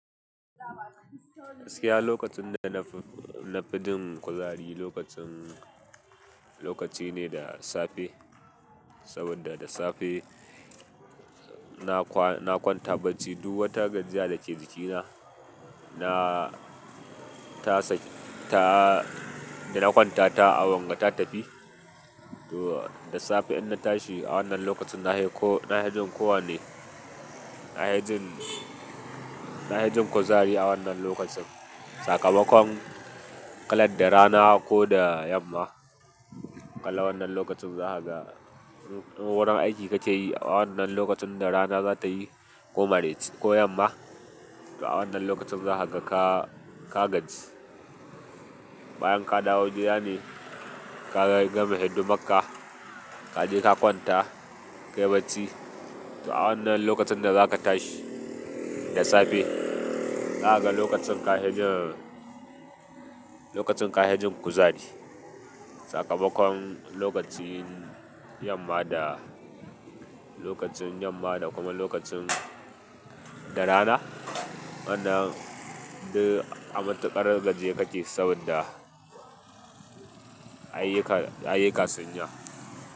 Gaskiya lokacin da nafi jin kuzari lokacin lokacine da safe saboda da safe na kwa, na kwanta bacci duk wata gajiya da ke jikina na tasa ta, da na kwanta ta a wanga ta tafi. To da safe in na tashi a wannan lokacin na haiko, na hajin ko wane, nafi jin, nafi jin kuzari a wannan lokacin. Sakamakon ƙalar da rana ko da yamma, kala wannan lokacin za ka ga wurin aiki ka ke yi a wannan lokacin da rana za ta yi ko maraici ko yamma, to a wannan lokacin za ka ga ka, ka gaji. Bayan ka dawo gida ne ka gama hidimar ka, ka je ka kwanta, ka yi bacci. To a wannan lokacin da za ka tashi da safe, za ka ga lokacin kafi jin, lokacin kafi jin kuzari. Sakamakon lokacin yamma da, lokacin yamma da kuma lokacin da rana. Wannan duk a mantuƙar gajiye kake saboda ayyuka, ayyukan sunyi yawa.